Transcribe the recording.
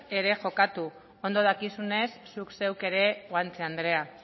ere jokatu ondo dakizunez zuk zeuk ere guanche andrea